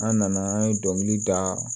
An nana an ye dɔnkili da